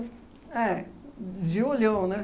É, de olhão, né?